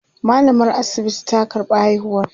mallamar asibiti ta karɓa haihuwan